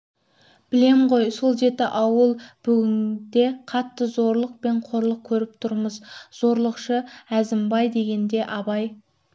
білем ғой сол жеті ауыл бүгінде қатты зорлық пен қорлық көріп тұрмыз зорлықшы әзімбай дегенде абай